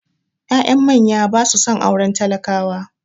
Ya'yan manya ba su son auren talakawa